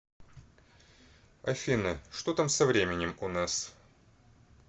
афина что там со временем у нас